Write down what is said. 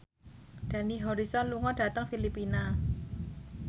Dani Harrison lunga dhateng Filipina